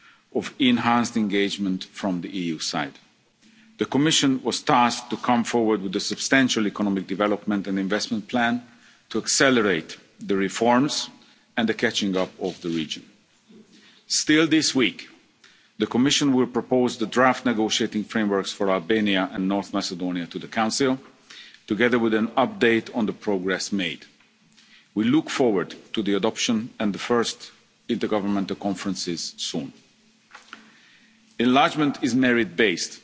message of enhanced engagement from the EU side. The Commission was tasked to come forward with a substantial economic development and investment plan to accelerate the reforms and the catching up of the region. Still this week, the Commission will propose the draft negotiating frameworks for Albania and North Macedonia to the Council, together with an update on the progress made. We look forward to the adoption and the first intergovernmental conferences soon. Enlargement is merit based.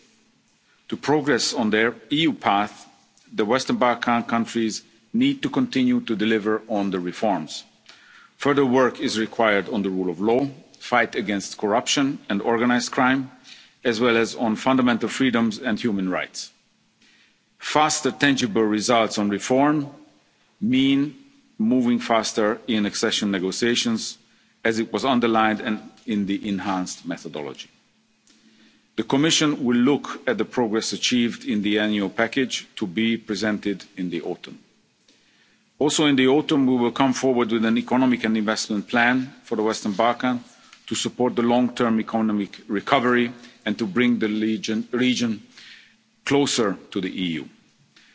To progress on their EU path, the Western Balkan countries need to continue to deliver on the reforms. Further work is required on the rule of law, the fight against corruption and organised crime, as well as on fundamental freedoms and human rights. Fast and tangible results on reform mean moving faster in accession negotiations, as was underlined in the enhanced methodology. The Commission will look at the progress achieved in the annual package to be presented in the autumn. Also in the autumn, we will come forward with an economic and investment plan for the Western Balkans to support the long term economic recovery and to bring the region closer to the EU.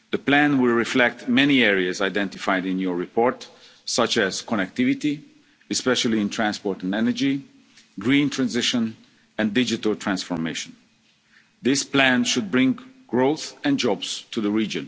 The plan will reflect many areas identified in your report, such as connectivity green transition and digital transformation. This plan should bring growth and